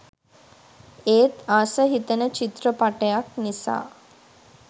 ඒත් ආස හිතෙන චිත්‍රපටයක් නිසා .